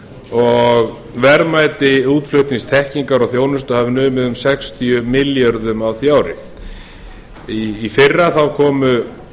og verðmæti útflutningsþekkingar og þjónustu hafi numið um sextíu milljörðum á því ári í fyrra komu